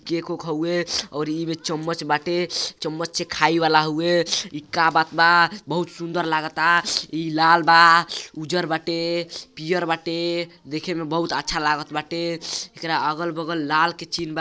Cake okay हउवे और ई में चम्मच बाटे। चम्मच खाइ वाला हउवे। इ का बात बा। बहुत सुंदर लागता। इ लाल बा उज्जर बाटे पियर बाटे। देखे में बहुत अच्छा लागल बाटे। एकरा अगल बगल लाल के चीन बा।